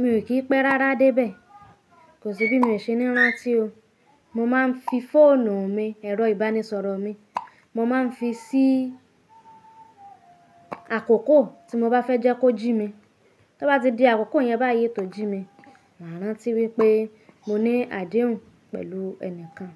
Mi ò kí pẹ́ rárá dé ibẹ̀. Kò sí bí mi ò ṣe ní rántí o. Mo máa ń fi fóònù mi, ẹ̀rọ ìbánisọ̀rọ̀ mi, mo máa ń fi sí àkókò tí mo bá fẹ́ jẹ́ kó jí mi. Bí ó bá ti di àkókò yẹn bá yii tó jí mi, màá rántí wípé mo ní àdéhùn pẹ̀lú ẹnìkan.